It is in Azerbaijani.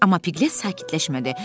Amma Piqlet sakitləşmədi.